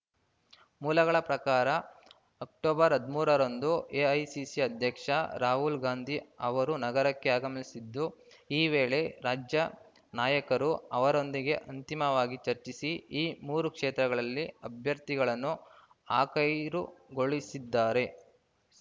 ಮೂಲಗಳ ಪ್ರಕಾರ ಅಕ್ಟೋಬರ್ ಹದಮೂರರಂದು ಎಐಸಿಸಿ ಅಧ್ಯಕ್ಷ ರಾಹುಲ್‌ ಗಾಂಧಿ ಅವರು ನಗರಕ್ಕೆ ಆಗಮಿಸಲಿದ್ದು ಈ ವೇಳೆ ರಾಜ್ಯ ನಾಯಕರು ಅವರೊಂದಿಗೆ ಅಂತಿಮವಾಗಿ ಚರ್ಚಿಸಿ ಈ ಮೂರು ಕ್ಷೇತ್ರಗಳಿಗೆ ಅಭ್ಯರ್ಥಿಗಳನ್ನು ಆಖೈರುಗೊಳಿಸಲಿದ್ದಾರೆ